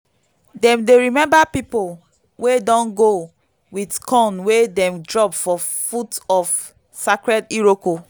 dem dey remember people wey don go with corn wey dem drop for foot of sacred iroko.